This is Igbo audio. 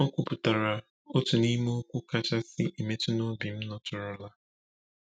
O kwupụtara otu n’ime okwu kachasị emetụ n’obi m nụtụrụla.